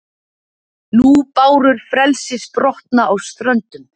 Nú bárur frelsis brotna á ströndum,